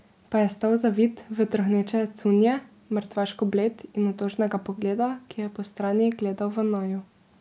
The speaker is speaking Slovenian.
Pa je stal zavit v trohneče cunje, mrtvaško bled in otožnega pogleda, ki je po strani gledal v naju.